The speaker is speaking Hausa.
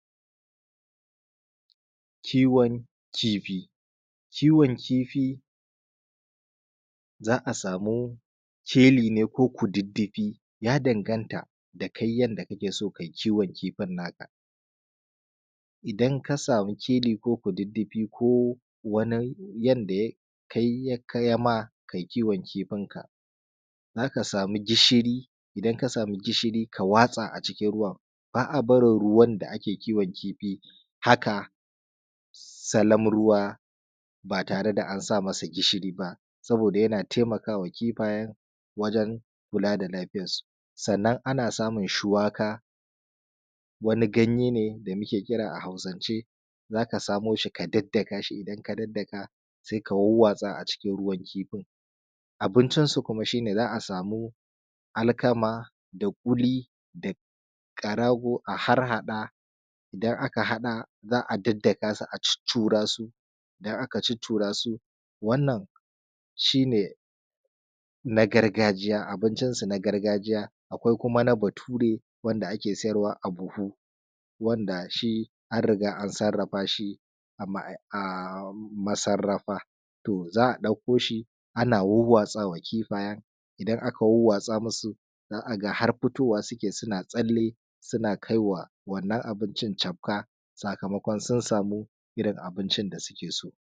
kiwon kifi kiwon kifi za a samu keli ne ko kududdufi ya danganta da kai yadda kakee son kai kiwon kifin naka idan ka samu keli ko kududdufi ko wani yanda ya kai ya ma kai kiwon kifinka za ka samu gishirii idan ka samu gishirii ka watsa acikin ruwan baa a barin ruwan da ake kiwon kifi haka salam ruwa baa tare da an sa masa gishirii ba sabooda yana taimakawa kifayen wajen kulaa da lafiyarsu sannan ana samun shuwaka wani ganyee ne da muke kiraa a hausancee za ka samoo shi ka daddaka shi idan ka daddaka sai ka wawwatsa acikin ruwan kifin abincinsu kuma shi ne za a samu alkama da ƙuli da ƙarago a harhaɗa idan aka haɗa za a daddaka su a cuccuraa su idan aka cuccuraa su wannan shi nee na gargaiya abincinsu na gargajiya akwai kuma na batuure wanda ake sayarwa a buhu wanda shi an riga an sarrafa shi a masarrafa to za a ɗakko shi ana wawwatsa wa kifayen idan aka wawwatsa masu za a ga har fitowa suke sunaa tsalle suna kai wa wannan abincin cafka sakamakon sun samu irin abincin da sukee so.